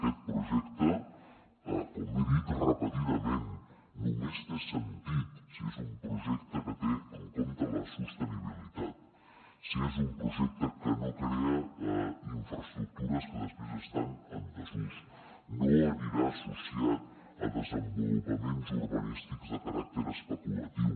aquest projecte com he dit repetidament només té sentit si és un projecte que té en compte la sostenibilitat si és un projecte que no crea infraestructures que després estan en desús no anirà associat a desenvolupaments urbanístics de caràcter especulatiu